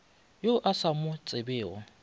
yo o sa mo tsebego